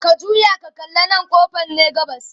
ka juya ka kalla ƙofan Nan ne gabas